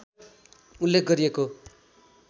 उल्लेख गरिएको